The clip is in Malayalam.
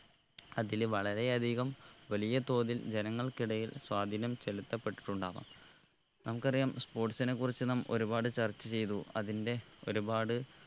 അതില് വളരെ അധികം വലിയ തോതിൽ ജനങ്ങൾക്കിടയിൽ സ്വാധീനം ചെലിത്തപെട്ടിട്ടുണ്ടാവാം നമ്മുക്കറിയാം sports നെ കുറിച്ച് നാം ഒരുപാട് ചർച്ച ചെയ്തു അതിൻ്റെ ഒരുപാട്